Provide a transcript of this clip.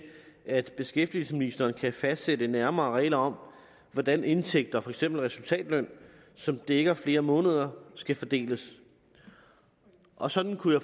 at beskæftigelsesministeren kan fastsætte nærmere regler om hvordan indtægter for eksempel resultatløn som dækker flere måneder skal fordeles og sådan kunne